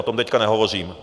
O tom teď nehovořím.